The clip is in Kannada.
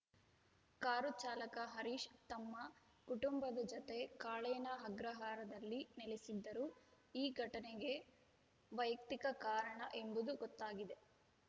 ಕಾರು ಚಾಲಕ ಹರೀಶ್‌ ತಮ್ಮ ಕುಟುಂಬದ ಜತೆ ಕಾಳೇನಾ ಅಗ್ರಹಾರದಲ್ಲಿ ನೆಲೆಸಿದ್ದರು ಈ ಘಟನೆಗೆ ವೈಯಕ್ತಿಕ ಕಾರಣ ಎಂಬುದು ಗೊತ್ತಾಗಿದೆ